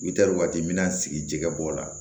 I taar'o waati n me n'a sigi jɛgɛ bɔla